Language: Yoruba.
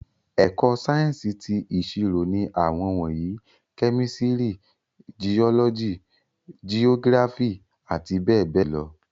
Ẹ̀kọ́ Sáyẹ́ǹsì ti ìṣirò ní àwọn wọ̀nyí, kẹ́mísìrì, jiọ́lọ́jì, jiógíráfì àti bẹẹbẹẹ lọ